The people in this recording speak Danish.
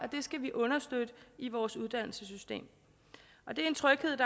skal vi understøtte i vores uddannelsessystem det er en tryghed